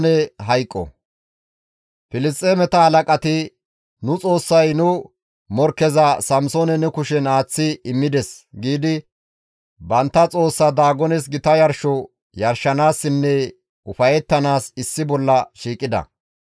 Filisxeemeta halaqati, «Nu xoossay nu morkkeza Samsoone nu kushen aaththi immides» giidi bantta xoossa Daagones gita yarsho yarshanaassinne ufayettanaas issi bolla shiiqida.